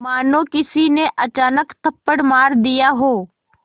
मानो किसी ने अचानक थप्पड़ मार दिया हो